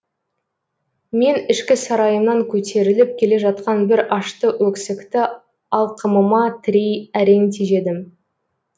мен ішкі сарайымнан көтеріліп келе жатқан бір ашты өксікті алқымыма тірей әрең тежедім